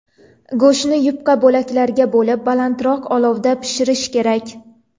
Go‘shtni yupqa bo‘laklarga bo‘lib, balandroq olovda pishirish kerak.